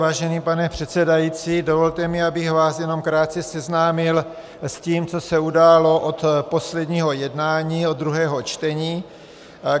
Vážený pane předsedající, dovolte mi, abych vás jenom krátce seznámil s tím, co se událo od posledního jednání, od druhého čtení.